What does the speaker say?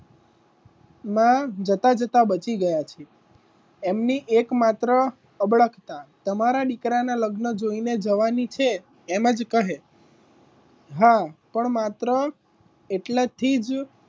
ના જતાં જતાં બચી ગયા છે એમની એક માત્ર અબડકતાં તમારા દીકરાના લગ્ન જોઈને જવાની છે એમ જ કહે હા પણ માત્ર એટલા જ,